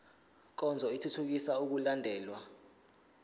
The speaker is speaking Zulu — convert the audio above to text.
nkonzo ithuthukisa ukulandelwa